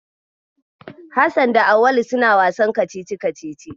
Hassan da Auwal suna wasan kacici-kacici.